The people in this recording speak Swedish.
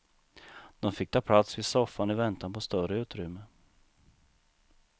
De fick ta plats vid soffan i väntan på större utrymme.